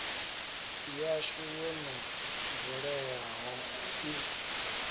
yashu yo no vuleyaho i